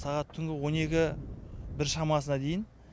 сағат түнгі он екі бір шамасына дейін